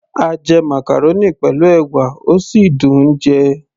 a jẹ màcàrónì pẹ̀lú ẹ̀wà, ó sì dùn -un jẹ